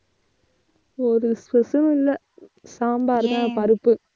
ஒரு special லும் இல்லை. சாம்பார்தான் பருப்பு.